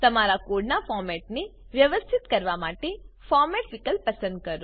તમારા કોડનાં ફોર્મેટને વ્યવસ્થિત કરવા માટે ફોર્મેટ વિકલ્પ પસંદ કરો